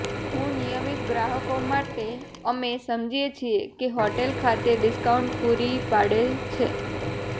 હું નિયમિત ગ્રાહકો માટે અમે સમજીએ છીએ કે હોટેલ ખાતે ડિસ્કાઉન્ટ પૂરી પાડે છે